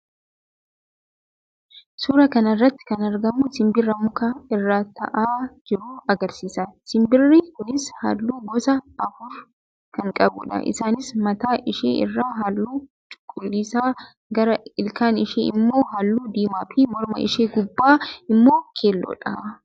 Suuraa kana irratti kan argamu simbira muka irraa taa'aa jirtu agarsiisa. Simbirri kunis halluu gosa afur kan qabduudha. Isaannis mataa ishee irraa halluu cuquliisa, gara ilkaan ishee immoo halluu diimaa fi morma ishee gubbaa immoo keelloodha.